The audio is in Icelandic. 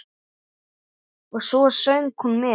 Og svo söng hún með.